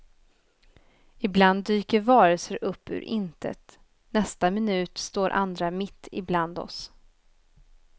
Ibland dyker varelser upp ur intet, i nästa minut står andra mitt ibland oss.